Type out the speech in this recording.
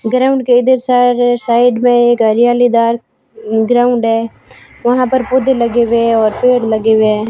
Ground के इधर सार साइड में एक हरियाली दार ग्राउंड है वहां पर पौधे लगे हुए हैं और पेड़ लगे हुए हैं।